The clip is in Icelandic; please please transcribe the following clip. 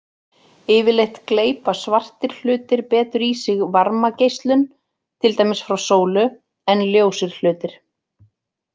Yfirleitt gleypa svartir hlutir betur í sig varmageislun, til dæmis frá sólu, en ljósir hlutir.